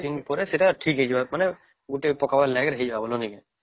୨୧ ଦିନ ପରେ ସେତ ଠିକ ହେଇଯିବ ମାନେ ଗୋଟେ ପକବାର ଲାଗି ହେଇଯିବ